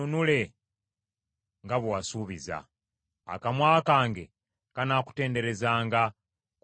Akamwa kange kanaakutenderezanga, kubanga gw’onjigiriza amateeka go.